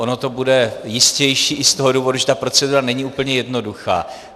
Ono to bude jistější i z toho důvodu, že ta procedura není úplně jednoduchá.